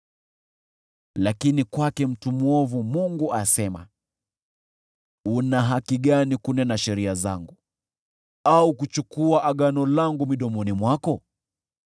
Lakini kwake mtu mwovu, Mungu asema: “Una haki gani kunena sheria zangu au kuchukua agano langu midomoni mwako?